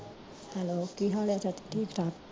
hello ਕੀ ਹਾਲ ਆ ਚਾਚੀ ਠੀਕ ਠਾਕ